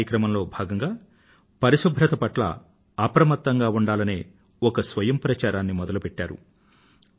ఆ కార్యక్రమంలో భాగంగా పరిశుభ్రత పట్ల అప్రమత్తంగా ఉండాలనే ఒక స్వయం ప్రచారాన్ని మొదలుపెట్టాడు